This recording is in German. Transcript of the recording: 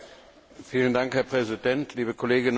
Herr Präsident, liebe Kolleginnen und Kollegen!